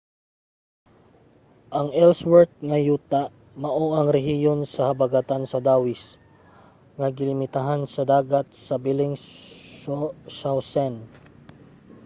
ang ellsworth nga yuta mao ang rehiyon sa habagatan sa dawis nga gilimitahan sa dagat sa bellingshausen